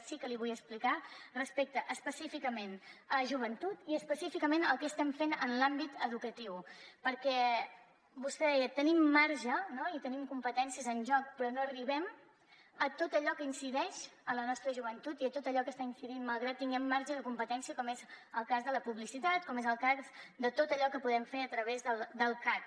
sí que li vull explicar respecte específicament a joventut i específicament el que estem fent en l’àmbit educatiu perquè vostè deia tenim marge no i tenim competències en joc però no arribem a tot allò que incideix en la nostra joventut i a tot allò que hi està incidint malgrat que hi tinguem marge de competència com és el cas de la publicitat com és el cas de tot allò que podem fer a través del cac